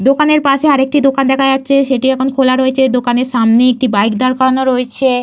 দোকানের পাশে আর একটি দোকান দেখা যাচ্ছে। সেটি এখন খোলা রয়েছে। দোকানের সামনে একটি বাইক দাঁড় করানো রয়েছে।